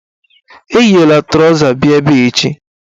Eyila trọza bịa ebe echi!